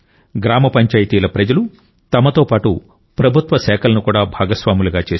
గ్రామ పంచాయతీల ప్రజలు తమతో పాటు ప్రభుత్వ శాఖలను కూడా భాగస్వాములుగా చేశారు